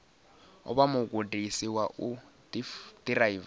vha mugudisi wa u ḓiraiva